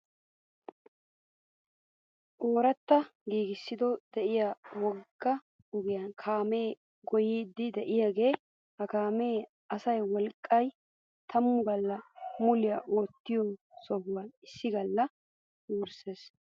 Oratta giissiiddo diyo wogga ogiyaa kaamee goyyiiddi diyaagaa. Ha kaamee asaa wolqqayi tammu galla muliyaa oottiyoo sohaa issi galla wursses.